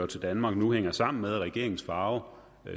til danmark nu hænger sammen med at regeringens farve